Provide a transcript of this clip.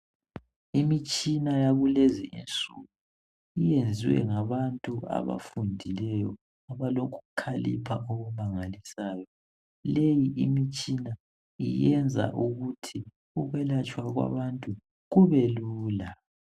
Imitshina yakulezi insuku iyenziwe ngabantu abafundileyo abalokukhalipha okumangalisayo. Leyi imitshina iyenza ukuthi ukwelatshwa kwabantu kube lula.